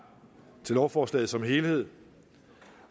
til lovforslaget som helhed